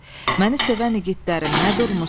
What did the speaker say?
Məni sevən igidlərim nə durmusuz?